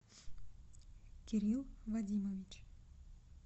кирилл вадимович